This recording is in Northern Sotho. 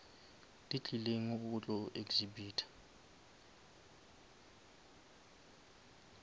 di tlileng go tlo exhibita